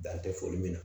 Dan tɛ foli min na